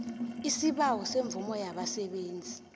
isibawo semvumo yabasebenzi